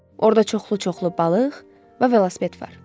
Orda çoxlu-çoxlu balıq və velosiped var.